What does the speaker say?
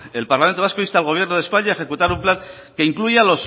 el parlamento vasco insta al gobierno de españa a ejecutar un plan que incluya